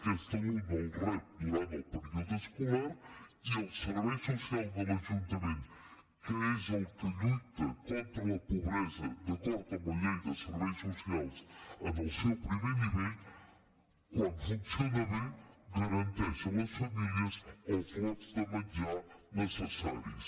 aquest alumne el rep durant el període escolar i els serveis socials de l’ajuntament que és el que lluita contra la pobresa d’acord amb la llei de serveis socials en el seu primer nivell quan funcionen bé garanteixen a les famílies els lots de menjar necessaris